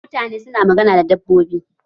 Mutane su na magana da dabbobi.